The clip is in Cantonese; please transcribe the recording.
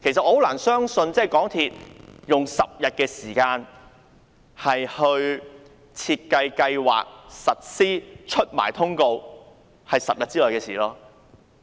我難以相信港鐵公司用10天時間便完成規劃這項優惠並落實推行。